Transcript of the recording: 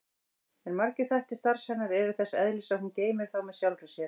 En margir þættir starfs hennar eru þess eðlis að hún geymir þá með sjálfri sér.